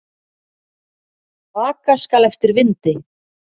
Aka skal eftir vindi.